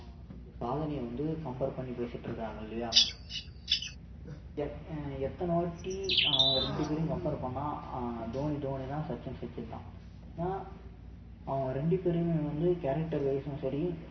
அவங்க செஞ்ச சாதனையை வந்து compare பண்ணி பேசிட்டு இருக்காங்க இல்லையா எத்~ அஹ் எத்தனை வாட்டி அவங்க ரெண்டு பேரையும் compare பண்ணா அஹ் தோனி தோனிதான் சச்சின் சச்சின்தான் ஏன்னா அவங்க ரெண்டு பேரையுமே வந்து characterwise ம் சரி